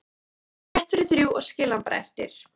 Ég fer rétt fyrir þrjú og skil hann bara eftir